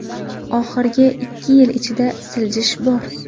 Oxirgi ikki yil ichida siljish bor.